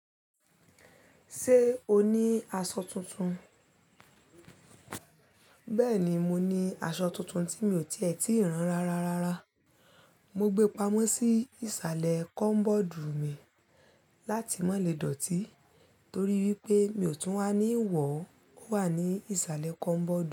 Ṣé o ní aṣọ tuntun? Bẹ́ẹ̀ni, mo ní aṣọ tuntun tí mi ò tí ì ti ràn rá ra. Mo gbé pamọ́ sí ìsàlẹ̀ kọ́bọ́ọ̀dù mi láti mọ́ lè dọ̀tí torí wípé mi ò tún wá ní ìwọ̀ wà ní ìsàlẹ̀ kọ́bọ́ọ̀dù.